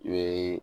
N ye